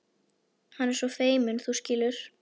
Hann er svo feiminn, þú skilur.